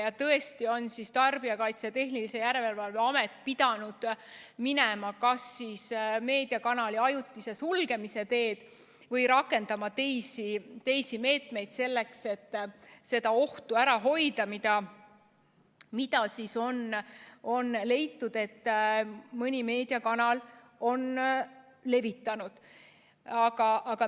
Ja tõesti on Tarbijakaitse ja Tehnilise Järelevalve Amet pidanud minema kas siis meediakanali ajutise sulgemise teed või rakendama teisi meetmeid selleks, et seda ohtu, mida on leitud, et mõni meediakanal on levitanud, ära hoida.